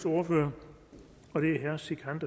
ordføreren